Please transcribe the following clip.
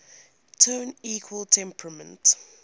tone equal temperament